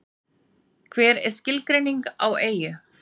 Hver er skilgreining á eyju?